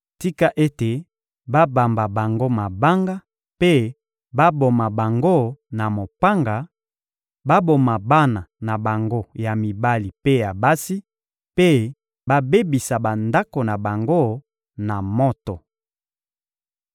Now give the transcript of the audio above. Tika ete babamba bango mabanga mpe baboma bango na mopanga; baboma bana na bango ya mibali mpe ya basi mpe babebisa bandako na bango na moto.